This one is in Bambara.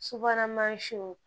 Subahana mansinw